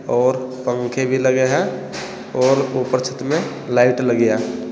और पंखे भी लगे हैं और ऊपर छत में लाइट लगी है।